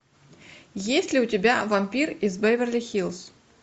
есть ли у тебя вампир из беверли хиллз